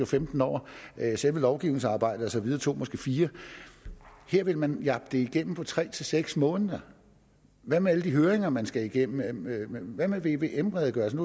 femten år selve lovgivningsarbejdet og så videre tog måske fire år her vil man jappe det igennem på tre seks måneder hvad med alle de høringer man skal igennem hvad med vvm redegørelsen